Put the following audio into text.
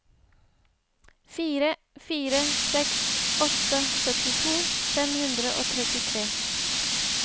fire fire seks åtte syttito fem hundre og trettitre